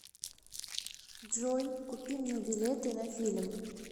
джой купи мне билеты на фильм